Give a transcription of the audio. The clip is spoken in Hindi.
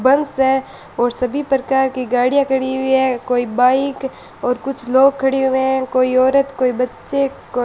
बस और सभी प्रकार की गाड़ियां खड़ी हुई है कोई बाइक और कुछ लोग खड़े हुए है कोई औरत कोई बच्चे --